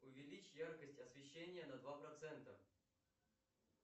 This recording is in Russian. увеличь яркость освещения на два процента